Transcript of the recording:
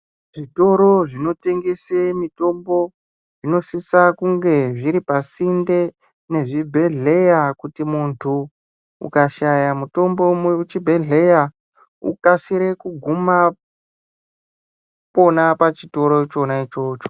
Zvitoro zvinotengese mitombo zvinosisa kunge zviripasinde nezvibhedhleya kuti muntu ukashaya mutombo muchibhedhleya ukasire kuguma pona pachitoro chona ichocho.